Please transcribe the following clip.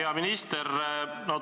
Hea minister!